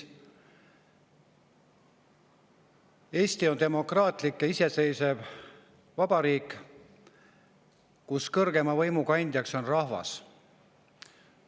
Eesti on demokraatlik ja iseseisev vabariik, kus kõrgeima võimu kandja on rahvas.